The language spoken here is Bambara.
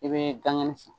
I bɛ gangani san